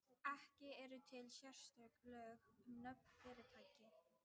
Ekki eru til sérstök lög um nöfn fyrirtækja.